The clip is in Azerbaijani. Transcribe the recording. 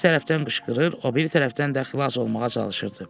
Bir tərəfdən qışqırır, o biri tərəfdən də xilas olmağa çalışırdı.